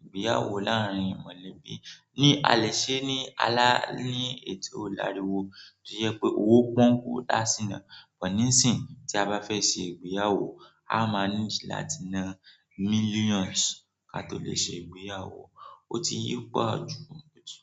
ìgbéyàwó láàárín mọ̀lẹ́bí. Ni alẹ́ ṣé ní alà ní ètò láriwo, ó jẹ́ pé owó pọ́n kú dà sí náà. Bọ̀ níìsín tí a bá fẹ́ ṣe ìgbéyàwó, a máa nídí láti na millions ká tó lè ṣe ìgbéyàwó. Ó ti yí pò jù mọ́ jù.